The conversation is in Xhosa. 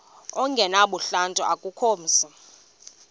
ongenabuhlanti akukho mzi